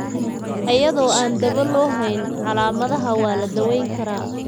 Iyadoo aan dawo loo hayn dysplasiaka fibrouska, calaamadaha waa la daweyn karaa.